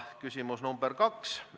Küsimus nr 2.